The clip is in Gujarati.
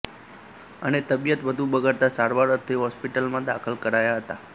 અને તબિયત વધુ બગડતા સારવાર અર્થે હોસ્પિટલમાં દાખલ કરાયા હતા